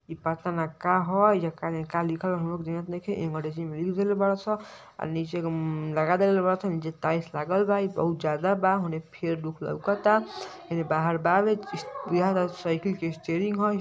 इ पता ना का ह? एहिजा काजने का ह। हमरो के नईखे। एंगड़ेजी में लिख देले बाड़ स। आ नीचे क म्म लगा देले बाड़ सन। एइजा टाइल्स लागल बा। इ बहुत ज्यादा बा। होने फेड़ दुख लउकता। एने बाहर बावे। इस् बुझाता साइकिल स्टेयरिंग ह।